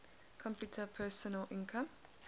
capita personal income